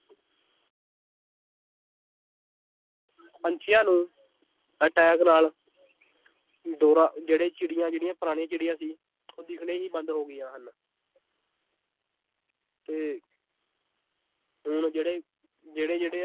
ਪੰਛੀਆਂ ਨੂੰ attack ਨਾਲ ਦੌਰਾ ਜਿਹੜੇ ਚਿੜੀਆਂ ਜਿਹੜੀਆਂ ਪੁਰਾਣੀਆਂ ਚਿੜੀਆਂ ਸੀ ਉਹ ਦਿਖਣੇ ਹੀ ਬੰਦ ਹੋ ਗਈਆਂ ਹਨ ਤੇ ਹੁਣ ਜਿਹੜੇ ਜਿਹੜੇ ਜਿਹੜੇ